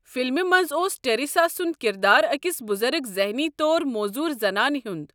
فلمہِ منٛز اوس ٹریسا سُنٛد کِردار اَکس بُزرٕگ ذٛحنی طور موزوٗر زنانہِ ہُنٛد۔